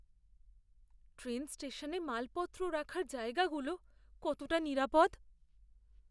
Train স্টেশনে মালপত্র রাখার জায়গাগুলো কতটা নিরাপদ?